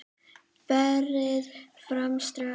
Berið fram strax.